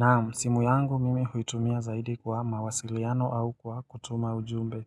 Naam simu yangu mimi huitumia zaidi kwa mawasiliano au kwa kutuma ujumbe